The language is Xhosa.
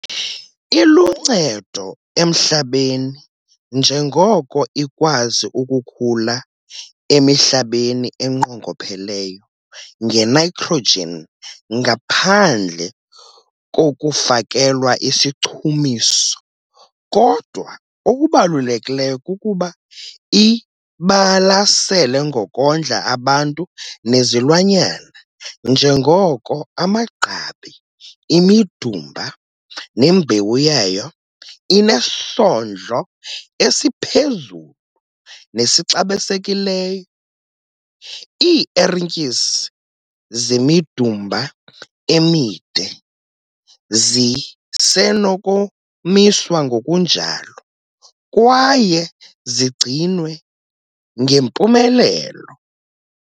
Iluncedo emhlabeni njengoko ikwazi ukukhula emihlabeni enqongopheleyo nge-nitrogen ngaphandle kokufakelwa isichumiso kodwa okubalulekileyo kukuba ibalasele ngokondla abantu nezilwanyana njengoko amagqabi, imidumba nembewu yayo inesondlo esiphezulu nesixabisekileyo. Ii-ertyisi zemidumba emide zisenokomiswa ngokunjalo kwaye zigcinwe ngempumelelo.